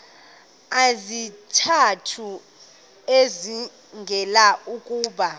izizathu ezibangela ukuba